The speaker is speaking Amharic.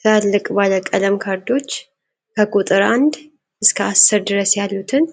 ትላልቅ ባለቀለም ካርዶች ከቁጥር አንድ እስከ አስር ድረስ ያሉትን